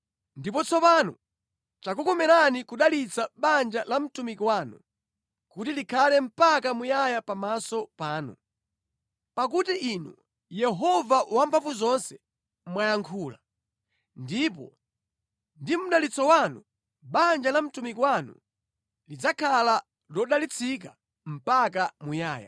Ndipo tsopano chikukomereni kudalitsa banja la mtumiki wanu, kuti likhale mpaka muyaya pamaso panu. Pakuti Inu, Yehova Wamphamvuzonse, mwayankhula, ndipo ndi mʼdalitso wanu banja la mtumiki wanu lidzakhala lodalitsika mpaka muyaya.”